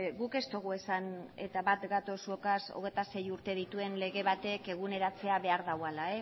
guk ez dugu esan eta bat gatoz zuekin hogeita sei urte dituen lege batek eguneratzea behar duela